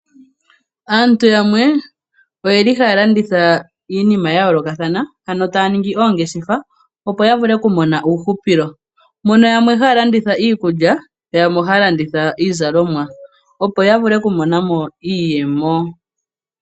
Aantu yamwe oye li haya landitha iinima ya yoolokathana ano taya ningi oongeshefa opo ya vule okumona uuhupilo mono yamwe haya landitha iikulya, yamwe oha ya landitha iizalomwa opo ya vule okumonamo iiyemo.